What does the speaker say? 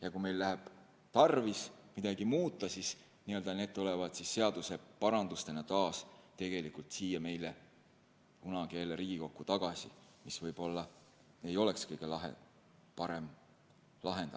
Ja kui meil on tarvis midagi muuta, siis need tulevad seaduseparandustena taas siia Riigikokku tagasi, mis võib-olla ei oleks kõige parem lahendus.